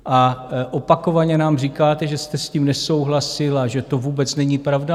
A opakovaně nám říkáte, že jste s tím nesouhlasil a že to vůbec není pravda.